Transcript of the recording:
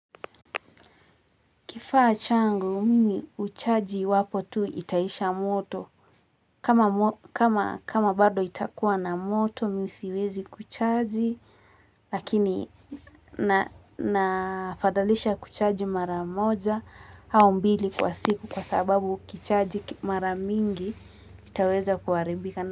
Kifaa changu, mimi huchaji iwapo tu itaisha moto. Kama bado itakuwa na moto, mimi siwezi kuchaji. Lakini na fadhalisha kuchaji mara moja, au mbili kwa siku kwa sababu ukichaji mara mingi, itaweza kuharibika.